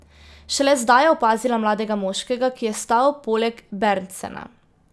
Šele zdaj je opazila mladega moškega, ki je stal poleg Berntsena.